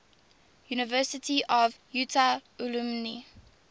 university of utah alumni